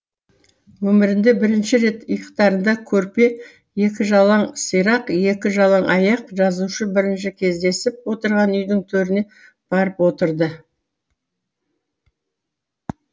өмірінде бірінші рет иықтарында көрпе екі жалаң сирақ екі жалаң аяқ жазушы бірінші кездесіп отырған үйдің төріне барып отырды